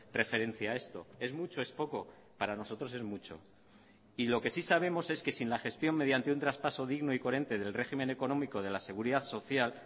referencia a esto es mucho es poco para nosotros es mucho y lo que sí sabemos es que sin la gestión mediante un traspaso digno y coherente del régimen económico de la seguridad social